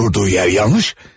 Durduğu yer yanlış.